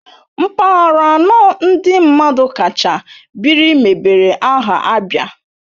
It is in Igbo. Mpaghara anọ ndị mmadụ kacha biri mebere aha ABIA